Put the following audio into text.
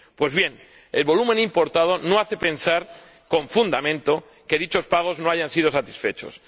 Pues bien, el volumen importado no hace pensar con fundamento que dichos pagos no hayan sido satisfechos.